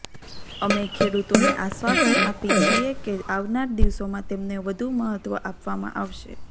અમે ખેડૂતોને આશ્વાસન આપી છીએ કે આવનાર દિવસોમાં તેમને વધુ મહત્વ આપવામાં આવશે